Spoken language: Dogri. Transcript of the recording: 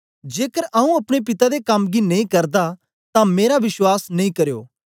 जेकर आऊँ अपने पिता दे कम गी नेई करदा तां मेरा विश्वास नेई करयो